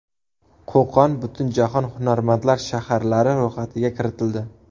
Qo‘qon Butunjahon hunarmandlar shaharlari ro‘yxatiga kiritildi.